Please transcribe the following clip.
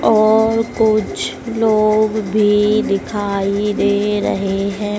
और कुछ लोग भी दिखाई दे रहे हैं।